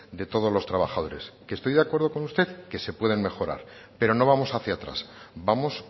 de todos los trabajadores y que estoy de acuerdo con usted que se pueden mejorar pero no vamos hacia atrás vamos